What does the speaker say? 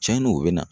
Cɛnni o bɛ na